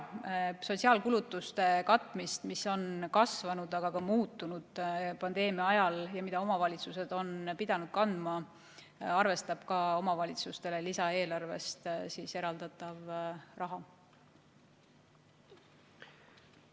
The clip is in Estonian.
Sotsiaalkulutuste katmist – need on kasvanud, aga ka muutunud pandeemia ajal –, mida omavalitsused on pidanud kandma, on arvestatud ka omavalitsustele lisaeelarvest eraldatava raha puhul.